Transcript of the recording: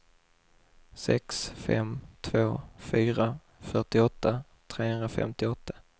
sex fem två fyra fyrtioåtta trehundrafemtioåtta